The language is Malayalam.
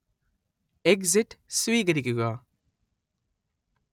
എക്സിറ്റ് സ്വീകരിക്കുക